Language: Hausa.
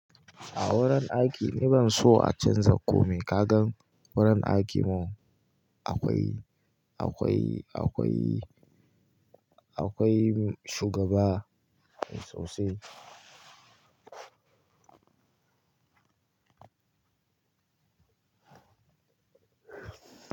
A wurin aiki ni ban so a canza komai. Ka gan wurin aiki mu akwai, akwai, akwai, akwai shugaba sosai.